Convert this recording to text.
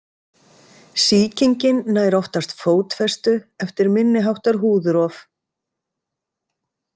Sýkingin nær oftast fótfestu eftir minni háttar húðrof.